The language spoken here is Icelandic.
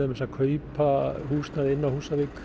að kaupa húsnæði inni á Húsavík